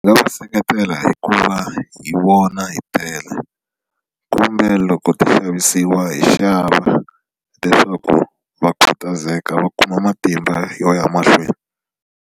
Ni nga va seketela hi ku va hi vona hi tela kumbe loko ti xavisiwa hi xava leswaku va khutazeka va kuma matimba yo ya mahlweni.